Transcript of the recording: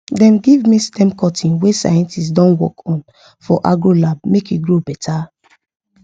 dem give me stem cutting wey scientists don work on for agro lab make e grow better